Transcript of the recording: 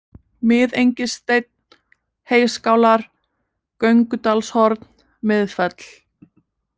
Miðengissteinn, Heyskálar, Göngudalshorn, Miðfell